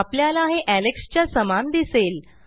आपल्याला हे एलेक्स च्या समान दिसेल